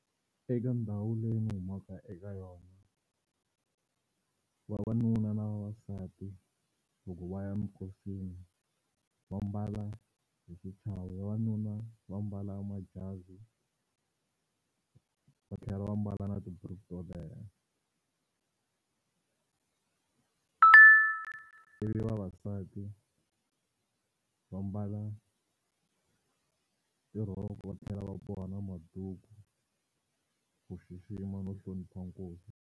Eka ndhawu leyi ni humaka eka yona vavanuna na vavasati loko va ya eminkosini va mbala hi xichavo, vavanuna va mbala majazi va tlhela va mbala na tiburuku to leha ivi vavasati va mbala tirhoko va tlhela va boha na maduku ku xixima no hlonipha nkosi.